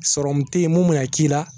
Sɔrɔmu tɛ yen mun minɛ k'i la.